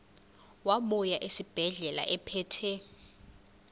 wabuya esibedlela ephethe